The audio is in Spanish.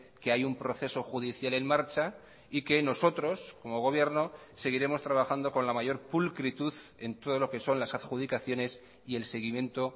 que hay un proceso judicial en marcha y que nosotros como gobierno seguiremos trabajando con la mayor pulcritud en todo lo que son las adjudicaciones y el seguimiento